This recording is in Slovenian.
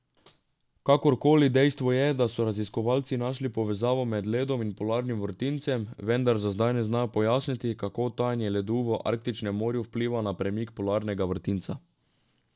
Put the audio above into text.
Kakorkoli, dejstvo je, da so raziskovalci našli povezavo med ledom in polarnim vrtincem, vendar za zdaj ne znajo pojasniti, kako tajanje ledu v arktičnem morju vpliva na premik polarnega vrtinca.